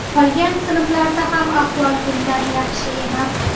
Qolgan sinflarlarda ham ahvol bundan yaxshi emas.